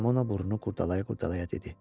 Ramona burnu qurdalaya-qurdalaya dedi.